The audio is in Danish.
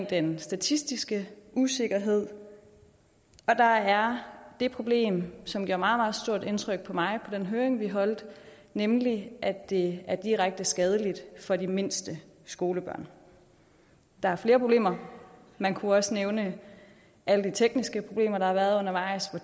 den statistiske usikkerhed og der er det problem som gjorde meget meget stort indtryk på mig på den høring vi holdt nemlig at det er direkte skadeligt for de mindste skolebørn der er flere problemer man kunne også nævne alle de tekniske problemer der har været undervejs og